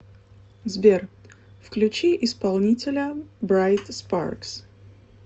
сбер включи исполнителя брайт спаркс